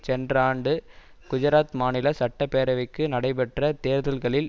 சென்ற ஆண்டு குஜராத் மாநில சட்டப்பேரவைக்கு நடைபெற்ற தேர்தல்களில்